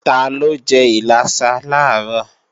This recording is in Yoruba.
Taló jẹ́ ìlàsà làárọ̀?